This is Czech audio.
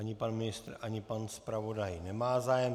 Ani pan ministr, ani pan zpravodaj nemá zájem.